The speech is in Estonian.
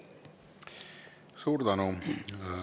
Suur tänu!